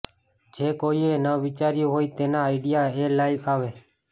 જે કોઈએ ન વિચાર્યું હોય તેનો આઈડિયા એ લઈ આવે